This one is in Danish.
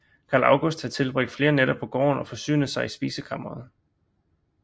Carl August havde tilbragt flere nætter på gården og forsynet sig i spisekammeret